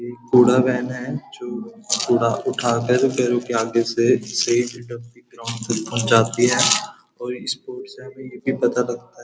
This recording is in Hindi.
एक कूड़ा वैन है जो कूड़ा उठाकर घरों के आगे से ग्राउंड तक जाती है और इसको --